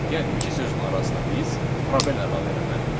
Yəni iki sözün arasına biz probel əlavə eləməliyik.